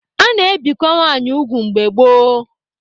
A na-ebikwa nwanyị ugwu mgbe gboo.